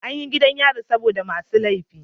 Anyi gidan yari saboda masu lefi